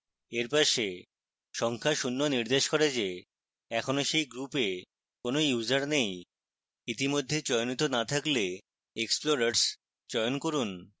এর পাশে সংখ্যা শূন্য নির্দেশ করে the এখনও সেই গ্রুপে কোন users নেই